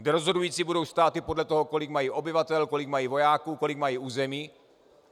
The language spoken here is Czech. Kde rozhodující budou státy podle toho, kolik mají obyvatel, kolik mají vojáků, kolik mají území.